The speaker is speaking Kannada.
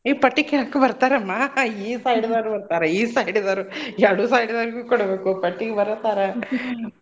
ಎ ಪಟ್ಟಿ ಕೇಳಾಕು ಬರ್ತಾರಮ್ಮ ಈ side ದೋರ್ ಬರ್ತಾರ ಈ side ದೋರ್ ಎರ್ಡು side ದೋರ್ಗೂ ಕೊಡ್ಬೇಕು ಪಟ್ಟಿಗ್ ಬರ್ತಾರ .